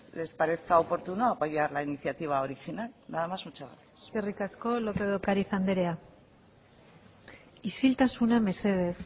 les parezca oportuno apoyar la iniciativa original nada más muchas gracias eskerrik asko lópez de ocariz andrea isiltasuna mesedez